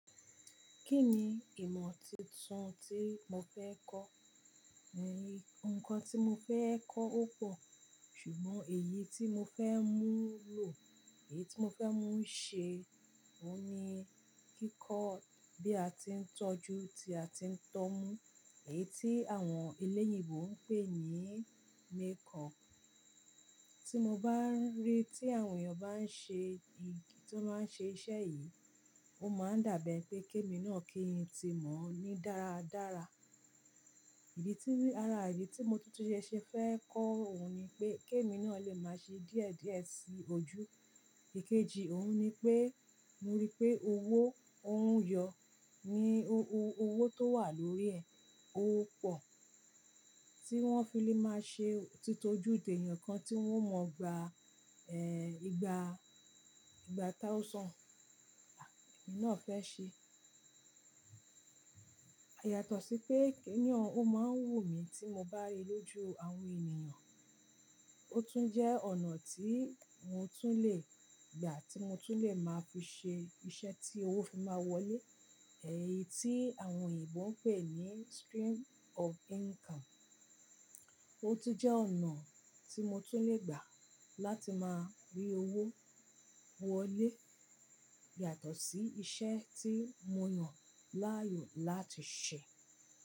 Kí ni ìmọ̀ tuntun tí mo fẹ́ kọ́? Ẹ nì, ǹkan tí mo fẹ́ kọ́ ó pọ̀, ṣùgbọ́n èyí tí mo fẹ́ mú lò, èyí tí mo fẹ́ mú ṣe òun ni kíkọ́ bí a ti ń tọ́jú, tí a ti ń tọ́ mú, èyí tí àwọn elẹ́yìnbo ń pè ní makeup. Tí mo bá ń rí i tí àwọn èèyàn bá ń ṣe ìgi tí wọ́n máa ń ṣe iṣẹ́ yìí, ó máa ń dàbí ẹ pé kémi náà kí n tí mọ̀ ọ́ ní dára dára. Ìdí tí, àrà ìdí tí mo tútùṣẹ́ ṣe fẹ́ kọ́ òun ni pé kémi náà lè máa ṣe díẹ̀ díẹ̀ sí ojú. Ìkejì òun ni pé mo rí pé owó, òun yọ, ni owó tó wà lórí ẹ̀, ó pọ̀. Tí wọ́n fí lé máa ṣe titojú tí èèyàn kan tí wọ́n ò mọ̀ gba, ìgbà, ìgbà táa ó sàn, à èmi náà fẹ́ ṣe. Yàtọ̀ sí pé kìní ọ́n, ó máa ń wù mí tí mo bá rí i lójú àwọn ènìyàn. Ó tún jẹ́ ọ̀nà tí mo tún lè gbà, tí mo tún lè máa fi ṣe iṣẹ́ tí owó fi máa wọlé, èyí tí àwọn òyìnbó ń pè ní stream of income. Ó tún jẹ́ ọ̀nà tí mo tún lè gbà láti máa rí owó wọlé yàtọ̀ sí iṣẹ́ tí mo yàn láàyò láti ṣe.